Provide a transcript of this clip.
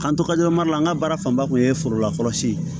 K'an to ka an ka baara fanba kun ye forolakɔrɔsi ye